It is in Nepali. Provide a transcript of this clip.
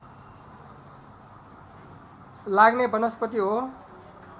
लाग्ने वनस्पति हो